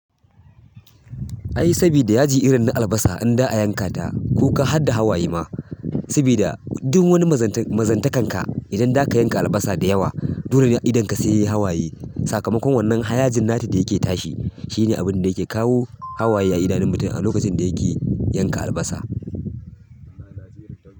Ai sabida yaji irin na albasa in za'a yankata kuka harda hawaye ma saboda duk wani mazantakan ka idan zaka yanka albasa da yawa, dole ne idon ka saiyayi hawaye. Sakamakon wannan haya jin nata da yake tashi shine abinda yake kawo hawaye a idanun mutum a lokacin da yake yanka albasa.